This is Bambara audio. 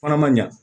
Fana man ɲa